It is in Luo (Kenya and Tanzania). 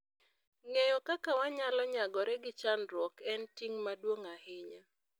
Ng'eyo kaka wanyalo nyagore gi chandruok en ting ' maduong ' ahinya.